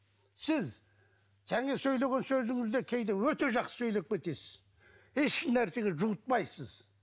сіз және сөйлеген сөзіңізде кейде өте жақсы сөйлеп кетесіз еш нәрсеге жуытпайсыз